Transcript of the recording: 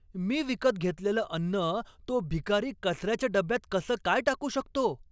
मी विकत घेतलेलं अन्न तो भिकारी कचऱ्याच्या डब्यात कसं काय टाकू शकतो?